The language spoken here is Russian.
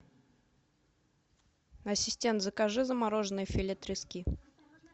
ассистент закажи замороженное филе трески